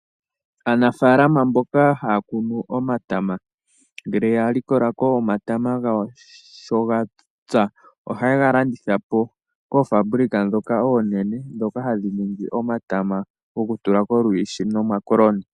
Aanafaalama mboka haya kunu omatama ngele ya likola ko omatama gawo sho ga pya ohaye ga landitha po koofabulika ndhoka oonene ndhoka hadhi ningi omatama gokutula kolwiishi nomakoloni.